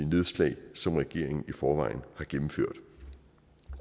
nedslag som regeringen i forvejen har gennemført